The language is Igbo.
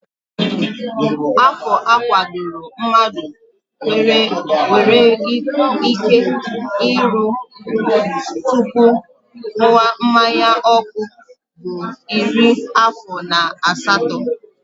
Afọ a kwadoro mmadụ nwere ike iru tupu ṅụwa mmanyaọkụ bụ iri afọ na asatọ